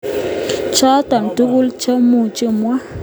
Choto tuguk cha muchi amwa.